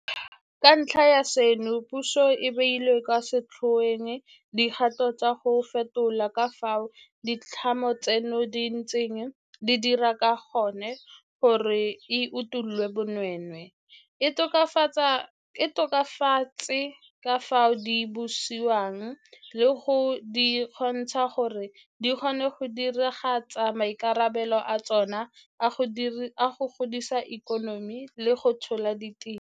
Ka ntlha ya seno puso e beile kwa setlhoeng dikgato tsa go fetola ka fao ditlamo tseno di ntseng di dira ka gone gore e utolle bonweenwee, e tokafatse ka fao di busiwang le go di kgontsha gore di kgone go diragatsa maikarabelo a tsona a go godisa ikonomi le go tlhola ditiro.